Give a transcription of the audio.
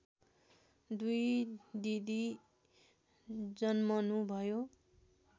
दुई दिदी जन्मनुभयो